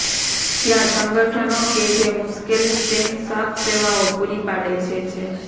ત્યાં સંગઠનો કે જે મુશ્કેલ સ્ટેન સાફ સેવાઓ પૂરી પાડે છે છે